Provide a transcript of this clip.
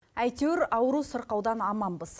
әйтеуір ауру сырқаудан аманбыз